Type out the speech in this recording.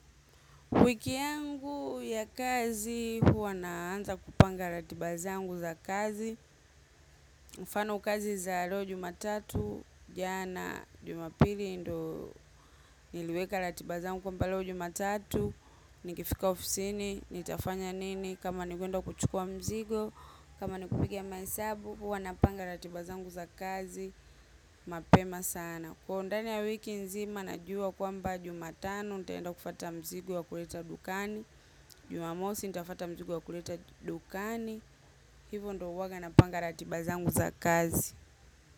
Wiki yangu ya kazi, huwa naanza kupanga ratiba zangu za kazi. Mfano kazi za leo jumatatu, jana jumapili ndo niliweka ratiba zangu kwamba leo jumatatu. Nikifika ofisini, nitafanya nini, kama ni kwenda kuchukua mzigo, kama nikupiga mahesabu, huwa na panga ratiba zangu za kazi, mapema sana. Kwa ndani ya wiki nzima najua kwamba jumatano nitaenda kufata mzigo wa kuleta dukani. Jumamosi nitafata mzigo wa kuleta dukani. Hivo ndo huwaga napanga ratiba zangu za kazi.